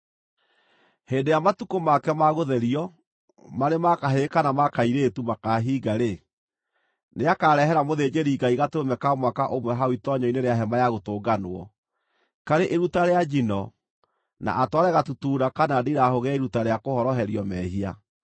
“ ‘Hĩndĩ ĩrĩa matukũ make ma gũtherio, marĩ ma kahĩĩ kana ma kairĩtu, makahinga-rĩ, nĩakarehera mũthĩnjĩri-Ngai gatũrũme ka mwaka ũmwe hau itoonyero-inĩ rĩa Hema-ya-Gũtũnganwo, karĩ iruta rĩa njino, na atware gatutura kana ndirahũgĩ ya iruta rĩa kũhoroherio mehia.